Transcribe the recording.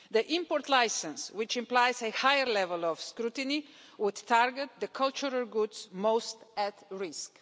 The import licence, which implies a higher level of scrutiny, would target the cultural goods most at risk.